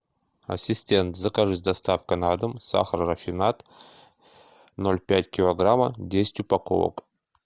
ассистент закажи с доставкой на дом сахар рафинад ноль пять килограмма десять упаковок